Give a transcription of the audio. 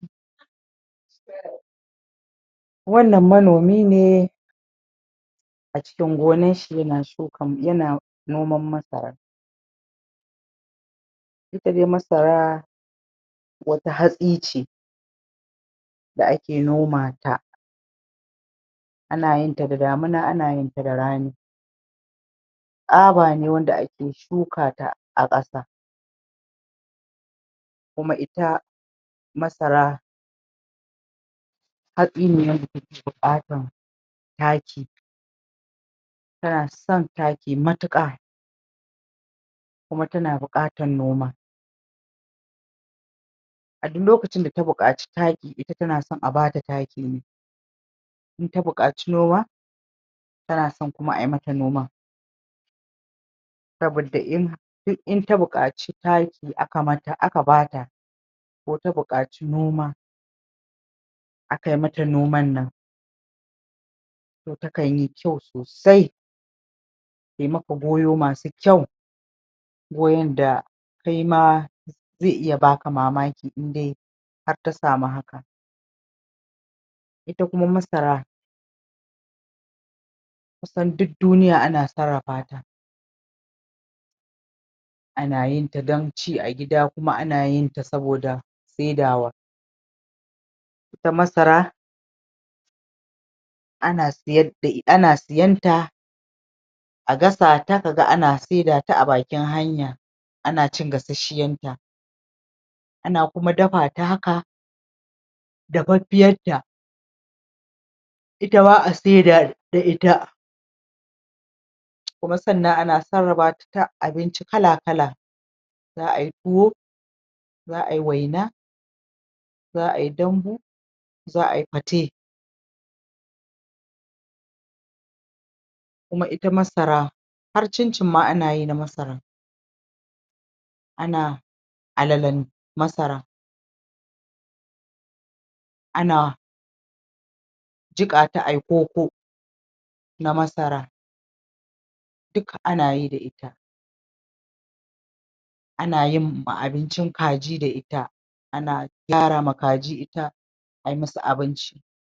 wannan manomi ne a cikin gonar shi yana shuka yana noman masara ita dai masara wata hatsi ce da ake noma ta ana yin ta da damina ana yin ta da rani tsaba ne wanda ake shuka ta a ƙasa kuma ita masara hatsi ne wanda take buƙatan taki tana son taki matuƙa kuma tana buƙatan noma a duk lokacin da ta buƙaci taki ita tana son a bata taki ne in ta buƙaci noma tanason kuma ayi mata noman saboda duk in ta buƙaci taki aka mata aka bata ko ta buƙaci noma akayi mata noman nan to ta kanyi kyau sosai tai maka goyo masu kyau goyon da kaima zai iya baka mamaki indai har ta samu hakan ita kuma masara kusan duk duniya ana sarrafa ta aana yin ta don ci a gida kuma ana yin ta saboda saidawa ita masara ana siyar da ana siyanta a gasa ta kaga ana saida ta a bakin hanya ana cin gasasshiyar ta ana kuma dafa ta haka dafaffiyar ta itama a saida da ita kuma sannan ana sarrafa ta ta abinci kala-kala za ayi tuwo za ayi waina za ayi dambu za ayi fate kuma ita masara har cin-cin ma ana yi na masara ana alalen masara ana jiƙa ta ayi koko na masara duk anayi da ita ana yin abincin kaji da ita ana gyara ma kaji ita ayi musu abinci.